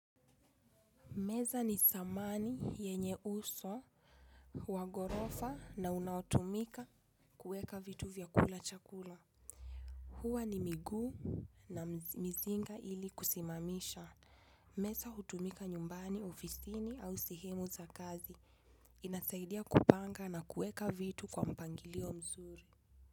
Meza ni samani yenye uso, wa ghorofa na unaotumika kuweka vitu vya kula chakula. Huwa ni miguu na mizinga ili kusimamisha. Meza hutumika nyumbani ofisini au sehemu za kazi. Inasaidia kupanga na kueka vitu kwa mpangilio mzuri.